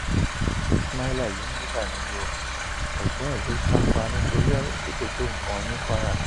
ismaila yìí níkà nínú o ẹgbọn ẹ ló sá pa nítorí ọrọ tí kò tó nǹkan ní kwara